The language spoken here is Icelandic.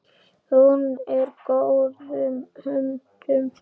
Hún er í góðum höndum.